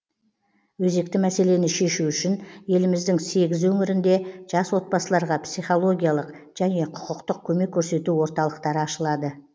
өзекті мәселені шешу үшін еліміздің сегіз өңірінде жас отбасыларға психологиялық және құқықтық көмек көрсету орталықтары ашылады